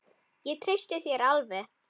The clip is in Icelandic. Ég treysti þér alveg.